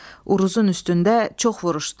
Uruzun üstündə çox vuruşdular.